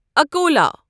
Akola